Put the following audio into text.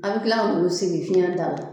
An bɛ tilak'u sigi fiɲɛ da la